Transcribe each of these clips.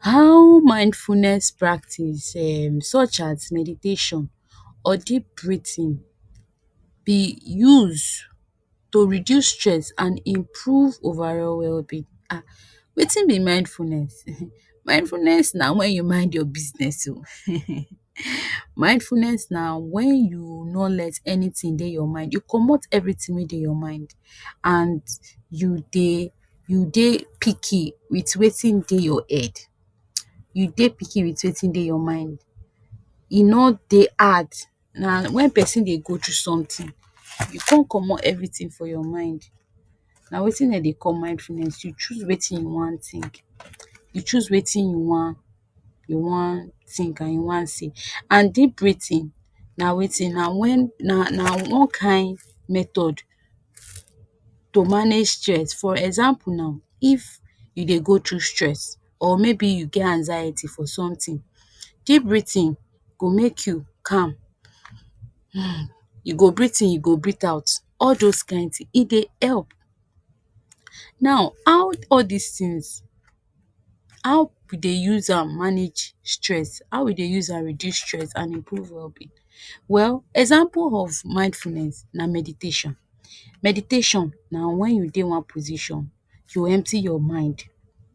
How mindfulness practice Em such as meditation or deep breathing be use to reduce stress and improve overall wellbeing. Wetin be mindfulness? Mindfulness na when you mind your business oo, mindfulness na when you no let anything dey you mind, you comot everything wey dey your mind, and you dey, you dey picky with wetin dey your head, you dey picky with wetin dey your mind, e no dey hard na when pesin dey go through something, you con comot everything for your mind, na wetin den dey call mindfulness, you choose wetin you wan think, you choose wetin you wan, you wan think and you wan say. And deep breathing na wetin? Na when, na wan kain method to manage stress, for example now, if you dey go through stress or maybe you get anxiety for something, deep breathing go make you calm, Hm you go breathe-in you go breathe-out all those kain things, e dey help. Now how all these things, how we dey use am manage stress, how we dey use am reduce stress and improve wellbeing? Well example of mindfulness na meditation. Meditation na when you dey one position you empty your mind,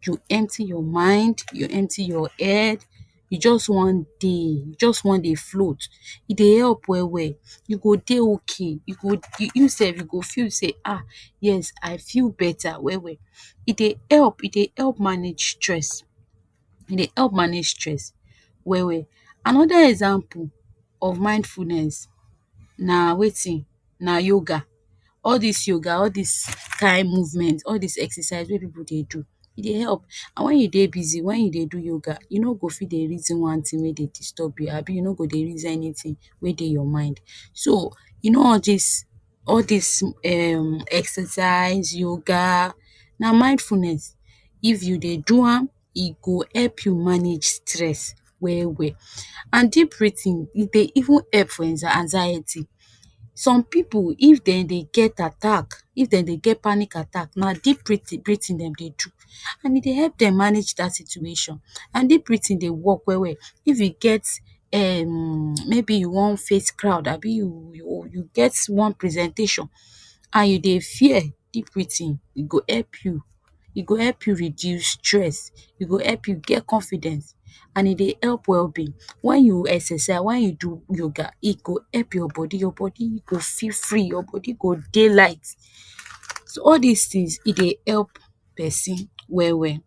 you empty your mind, you empty your head, you just wan de, you just wan dey float, e dey help well-well, you go dey okay, you go, you sef you go feel sey Ah yes I feel better well-well, e dey help, e dey help manage stress, e dey help manage stress well-well. Another example of mindfulness na wetin, na yoga, all dis yoga all dis kain movement, all dis exercise wey pipu dey do, e dey help and when you dey busy, when you dey do yoga you no go fi dey reason one thing wey dey disturb you abi you no go dey reason anything wey dey your mind. So you know all dis, all dis Em exercise, yoga na mindfulness if you dey do am, e go help you manage stress well-well. And deep breathing e dey even help for anxiety, so pipu if den dey get attack, if den dey get panic attack na deep breathing dem dey do and e dey help dem manage that situation, and deep breathing dey work well-well if you get Em maybe you wan face crowd abi you you you get one presentation and you dey fear, deep breathing e go help you, e go help you reduce stress, e go help you get confidence, and e dey help wellbeing when you exercise, when you do yoga, e go help your body, your body you go feel free, your body go dey light, so all these things e dey help pesin well-well.